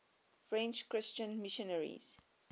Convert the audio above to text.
french christian missionaries